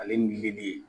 Ale nili